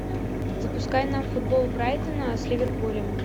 запускай нам футбол брайтона с ливерпулем